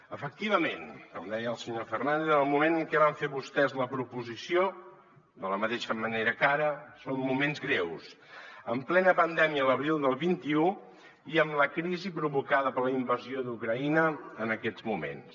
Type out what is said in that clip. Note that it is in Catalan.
efectivament com deia el senyor fernández en el moment en què van fer vostès la proposició de la mateixa manera que ara eren moments greus en plena pandèmia a l’abril del vint un i amb la crisi provocada per la invasió d’ucraïna en aquests moments